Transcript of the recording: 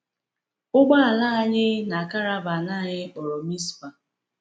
Ụgbọala anyị na karavan anyị kpọrọ Mizpah.